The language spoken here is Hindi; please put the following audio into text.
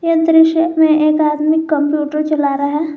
अंदर शॉप में एक आदमी कंप्यूटर चला रहा है।